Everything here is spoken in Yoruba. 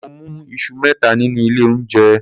Mo mú iṣu mẹ́ta nínú ilé oúnjẹ.